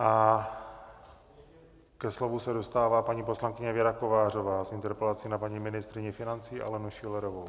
A ke slovu se dostává paní poslankyně Věra Kovářová s interpelací na paní ministryni financí Alenu Schillerovou.